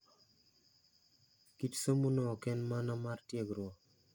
Kit somo no oken mana mar tiegruok.